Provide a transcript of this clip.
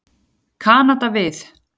Kanada við.